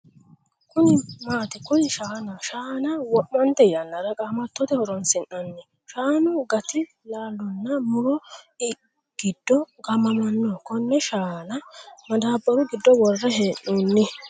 Kuni maati? Kuni shaanaho shaana wo'mante yannara qamattote horoonsi'nanni. Shaanu gati laalonna mu'ro giddo gaamamanno konne shaana madaabbaru giddo worre hee'noonni.